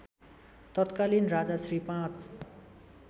तत्कालीन राजा श्री ५